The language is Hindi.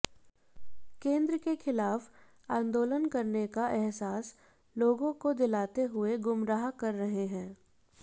केंद्र के खिलाफ आंदोलन करने का अहसास लोगों को दिलाते हुए गुमराह कर रहे हैं